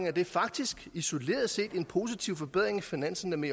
at det faktisk isoleret set bibringer en positiv forbedring af finanserne